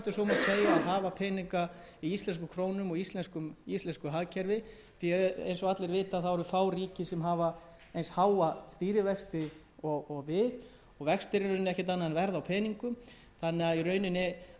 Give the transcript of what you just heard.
hafa peninga í íslenskum krónum og íslensku hagkerfi því að eins og allir vita hafa fá ríki eins háa stýrivexti og við vextir eru ekkert annað en verð á peningum þannig að í rauninni ætti að vera mjög hagstætt fyrir